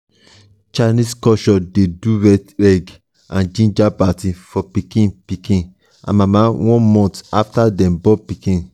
chinese culture de do red egg and ginger party for pikin pikin and mama one month after dem born pikin